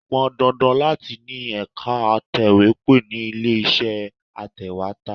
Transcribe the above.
Ó pọn dandan láti ni ẹ̀ka atòwépó ni ilé iṣẹ́ atèwétà.